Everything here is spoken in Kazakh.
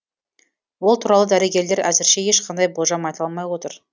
ол туралы дәрігерлер әзірше ешқандай болжам айта алмай отыр